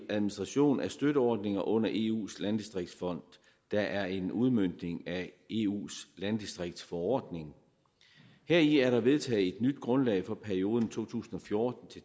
administration af støtteordninger under eus landdistriktsfond der er en udmøntning af eus landdistriktsforordning heri er der vedtaget et nyt grundlag for perioden to tusind og fjorten